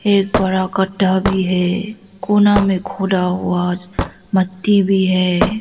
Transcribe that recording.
एक बड़ा गड्ढा भी है कोना में खुदा हुआ ज मट्टी भी है।